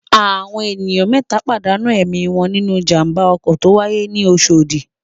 Àwọn ènìyàn mẹ́ta pàdánù ẹ̀mí wọn nínú ìjàm̀ba ọkọ̀ tó wáyé ní Oṣòdì.